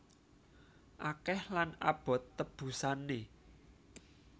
Akeh lan abot tebusané